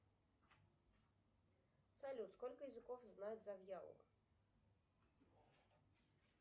салют сколько языков знает завьялова